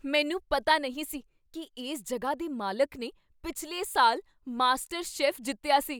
ਮੈਨੂੰ ਪਤਾ ਨਹੀਂ ਸੀ ਕੀ ਇਸ ਜਗ੍ਹਾ ਦੇ ਮਾਲਕ ਨੇ ਪਿਛਲੇ ਸਾਲ ਮਾਸਟਰ ਸ਼ੈੱਫ ਜਿੱਤਿਆ ਸੀ!